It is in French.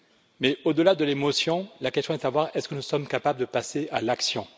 Mais au delà de l'émotion, la question est de savoir si nous sommes capables de passer à l'action.